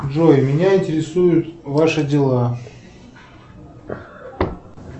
джой меня интересуют ваши дела